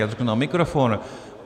Já to řeknu na mikrofon.